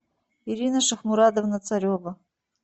ирина шахмурадовна царева